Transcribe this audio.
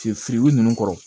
Fi firibugu ninnu kɔrɔ